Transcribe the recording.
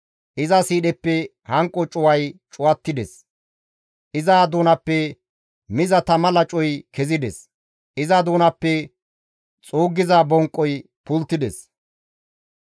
Iza sidheppe hanqo cuway cuwattides; iza doonappe miza tama lacoy kezides; iza doonappe xuuggiza bonqoy pulttides.